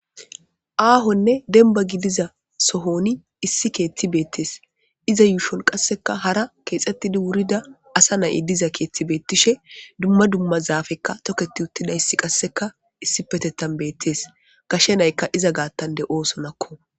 aahonne denbagi diza sohoni issi keetti beettees iza yuushon qasseka hara keexxettidi wurida asa nay7i diza keettibeettishe dumma dumma zaafekka toketi uttida issi qasseka issi petetan beettees gashe naykka iza gaattande oosonakko